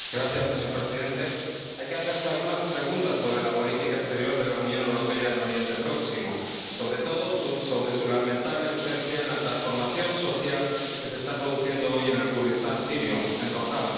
Señor Presidente, hay que hacerse algunas preguntas sobre la política exterior de la Unión Europea en Oriente Próximo, sobre todo sobre su lamentable ausencia en la transformación social que se está produciendo hoy en el Kurdistán sirio, en Rojava.